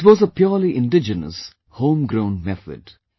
It was a purely indigenous, home grown method